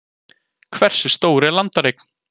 Hversu stór er landareign?